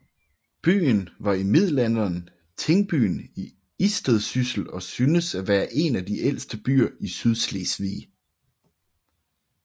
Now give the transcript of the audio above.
Byen var i middelalderen tingbyen i Istedsyssel og synes at være en af de ældste byer i Sydslesvig